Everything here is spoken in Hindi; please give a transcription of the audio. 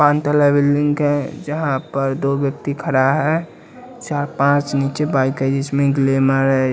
तला बिल्डिंग है जहां पर दो व्यक्ति खड़ा है। चार पांच नीचे बाइक है जिसमें है।